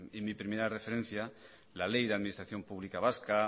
en mi primera referencia la ley de administración pública vasca